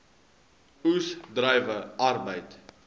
oes druiwe arbeid